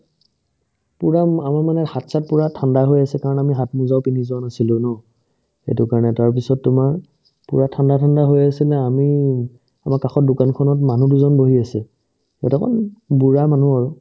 পূৰা আমাৰ মানে হাত-চাত পূৰা ঠাণ্ডা হৈ আছে কাৰণ আমি হাতমোজাও পিন্ধি যোৱা নাছিলো ন সেইটো কাৰণে তাৰপিছত তোমাৰ পূৰা ঠাণ্ডা ঠাণ্ডা হৈ আছিলে আমি আমাৰ কাষৰ দোকানখনত মানুহ দুজন বহি আছিল সিহঁতক বুঢ়া মানুহ আৰু